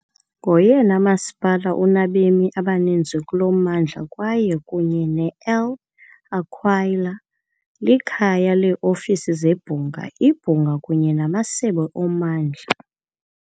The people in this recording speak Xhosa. Ngoyena masipala unabemi abaninzi kulo mmandla kwaye, kunye ne-L' Aquila, likhaya leeofisi zebhunga, ibhunga kunye namasebe ommandla .